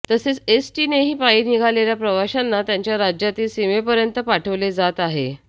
तसेच एसटीनेही पायी निघालेल्या प्रवाशांना त्यांच्या राज्यातील सीमेपर्यंत पाठवले जात आहे